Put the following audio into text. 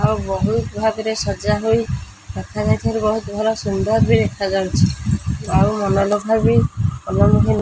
ଓ ବହୁତ ଭାଗରେ ସଜା ହୋଇ ରଖା ଯାଇଛି ଏବଂ ବହୁତ ସୁନ୍ଦର ବି ଦେଖାଯାଉଚି ଆଉ ମନୋ ଲୋଭବୀ ମନ --